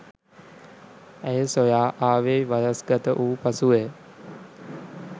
ඇය සොයා ආවේ වයස්ගත වූ පසුවය.